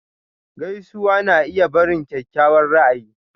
Gaisuwa na iya barin kyakkyawan ra'ayi.